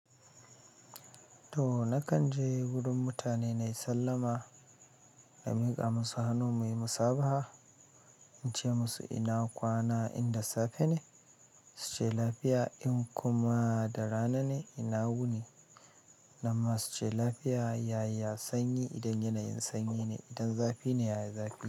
To nakan je wurin mutane nai sallama, na miƙa musu hannu, muyi musabaha, in ce musu ina kwana in da safe ne, su ce lafiya. In kuma da rana ne, ina wuni, nan ma su ce lafiya. Yaya sanyi? Idan yanayin sanyi ne, idan zafi ne, yaya zafi.